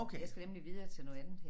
Jeg skal nemlig videre til noget andet